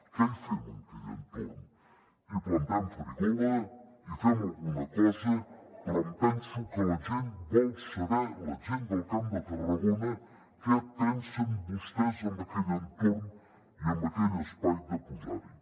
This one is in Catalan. què hi fem en aquell entorn hi plantem farigola hi fem alguna cosa però em penso que la gent vol saber la gent del camp de tarragona què pensen vostès en aquell entorn i en aquell espai de posar hi